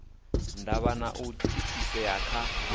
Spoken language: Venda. ndavha na u thithisea kha